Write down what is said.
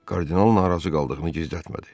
Kardinal narazı qaldığını gizlətmədi.